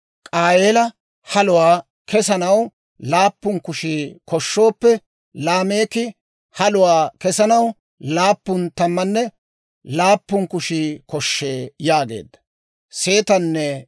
K'aayeela haluwaa kessanaw laappun kushii koshooppe, Laameeka haluwaa kessanaw laappun tammanne laappun kushii koshshee» yaageedda.